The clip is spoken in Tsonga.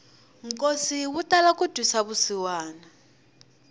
nkosi wu tala ku twisa vusiwana